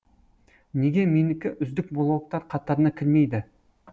неге менікі үздік блогтар қатарына кірмейді